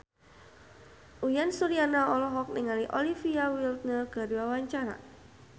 Uyan Suryana olohok ningali Olivia Wilde keur diwawancara